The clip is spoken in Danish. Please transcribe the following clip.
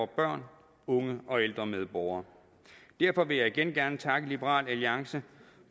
børn unge og ældre medborgere derfor vil jeg igen gerne takke liberal alliance